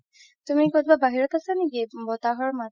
তুমি কৰোবাত বাহিৰত আছা নেকি বহাতহৰ মাত